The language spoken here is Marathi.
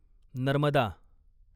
नर्मदा